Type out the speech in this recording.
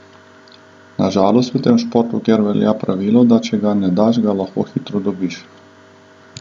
Na žalost v tem športu kar velja pravilo, da če ga ne daš, ga lahko hitro dobiš.